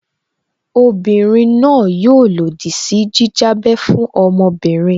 Obinrin náà yóò lòdì sí jíjábẹ́ fún ọmọbìnrin